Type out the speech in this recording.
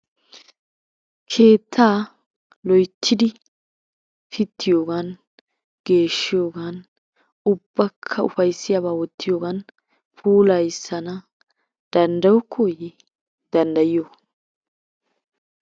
Keettaa loyittidi pittiyogan, geeshshiyogan, ubbakka ufayissiyaba wottiyogan puulayissana danddayokkooyye danddayiyo?